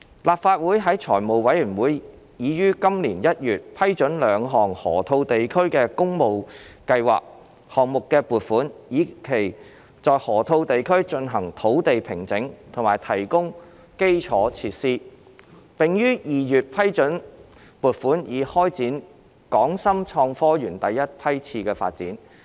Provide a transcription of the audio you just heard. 立法會財務委員會已於今年1月批准兩項河套地區的工務計劃項目的撥款，以期在河套地區進行土地平整及提供基礎設施，並於2月批准撥款以開展港深創科園第一批次發展。